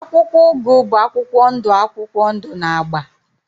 akwụkwọ ugu bụ akwụkwọ ndụ akwụkwọ ndụ na agba.